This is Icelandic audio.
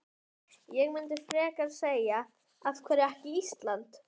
Ég myndi frekar segja af hverju ekki Ísland?